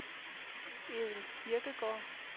Edel Kirkegaard